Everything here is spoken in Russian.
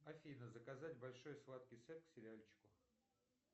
афина заказать большой сладкий сет к сериальчику